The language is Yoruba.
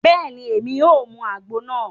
Bẹẹni, Èmí o mú àgbo náà